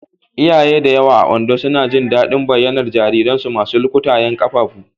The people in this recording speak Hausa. Iyaye da yawa a Ondo suna jin daɗin bayyanar jariransu masu lukutayen ƙafafu.